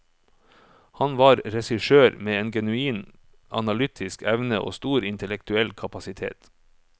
Han var en regissør med en genuin analytiske evne og stor intellektuell kapasitet.